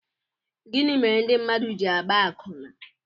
Gịnị mere ndị mmadụ ji àgbá àkwụnà?